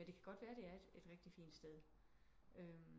Men det kan godt være det er et et rigtigt fint sted